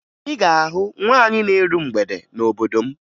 Ị ga-ahụ nwaanyị na-eru mgbede n'obodo m